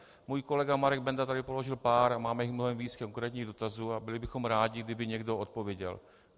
Můj kolega Marek Benda tady položil pár - a máme jich mnohem víc - konkrétních dotazů a byli bychom rádi, kdyby někdo odpověděl.